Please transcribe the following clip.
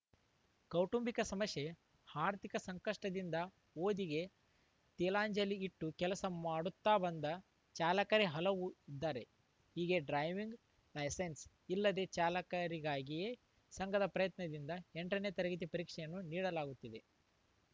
ಕೌಟುಂಬಿಕ ಸಮಸ್ಯೆ ಆರ್ಥಿಕ ಸಂಕಷ್ಟದಿಂದ ಓದಿಗೆ ತಿಲಾಂಜಲಿ ಇಟ್ಟು ಕೆಲಸ ಮಾಡುತ್ತಾ ಬಂದ ಚಾಲಕರೇ ಹಲವ ಇದ್ದಾರೆ ಹೀಗೆ ಡ್ರೈವಿಂಗ್‌ ಲೈಸೆನ್ಸ್‌ ಇಲ್ಲದ ಚಾಲಕರಿಗಾಗಿಯೇ ಸಂಘದ ಪ್ರಯತ್ನದಿಂದ ಎಂಟನೇ ತರಗತಿ ಪರೀಕ್ಷೆಯನ್ನು ನಡೆಸಲಾಗುತ್ತಿದೆ